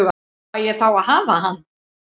Fæ ég þá að hafa hann?